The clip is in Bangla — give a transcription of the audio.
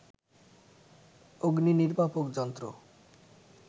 অগ্নিনির্বাপক যন্ত্র